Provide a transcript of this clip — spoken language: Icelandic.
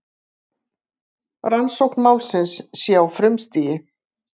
Rannsókn málsins sé á frumstigi